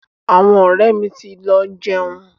Àwọn ọ̀rẹ́ mi ti ń lọ jẹun.